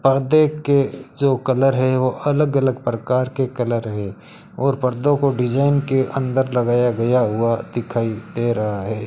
पर्दे के जो कलर है वो अलग अलग प्रकार के कलर है और पर्दो को डिजाइन के अंदर लगाया गया हुआ दिखाई दे रहा है।